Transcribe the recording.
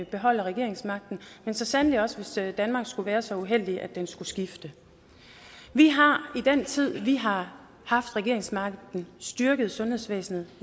beholder regeringsmagten men så sandelig også hvis vi i danmark skulle være så uheldige at den skulle skifte vi har i den tid vi har haft regeringsmagten styrket sundhedsvæsenet